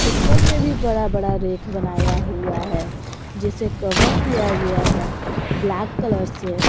ऊपर में भी बड़ा बड़ा रेख बनाया हुआ है जिसे कवर किया गया है ब्लैक कलर से।